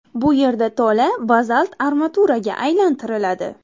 Bu yerda tola bazalt armaturaga aylantiriladi.